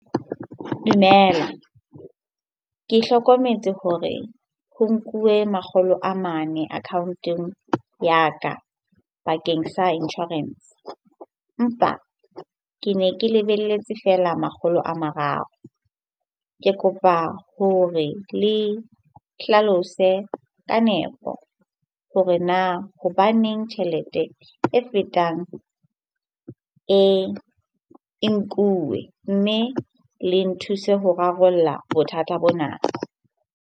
Dumela. Ke hlokometse hore ho nkuwe makgolo a mane account-ong ya ka bakeng sa insurance. Empa ke ne ke lebelletse fela makgolo a mararo. Ke kopa hore le hlalose ka nepo hore na hobaneng tjhelete e fetang e nkuwe? Mme le nthuse ho rarolla bothata bona.